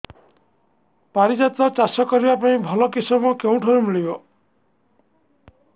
ପାରିଜାତ ଚାଷ କରିବା ପାଇଁ ଭଲ କିଶମ କେଉଁଠାରୁ ମିଳିବ